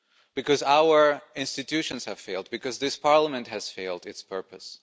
Because our institutions have failed. Because this Parliament has failed its purpose.